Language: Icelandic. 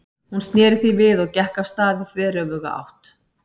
Hún sneri því við og gekk af stað í þveröfuga átt.